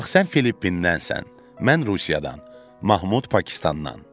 Bax sən Filippindən sən, mən Rusiyadan, Mahmud Pakistandan.